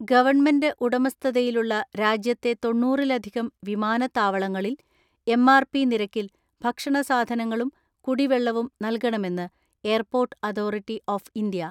Government ഉടമസ്ഥതയിലുള്ള രാജ്യത്തെ തൊണ്ണൂറിലധികം വിമാനത്താവളങ്ങളിൽ എം.ആർ.പി നിരക്കിൽ ഭക്ഷണ സാധനങ്ങളും കുടിവെള്ളവും നൽകണമെന്ന് എയർപോർട്ട് അതോറിറ്റി ഓഫ് ഇന്ത്യ.